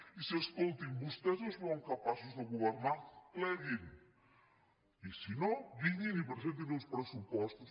i si escolti’m vostès no es veuen capaços de governar pleguin i si no vinguin i presentin uns pressupostos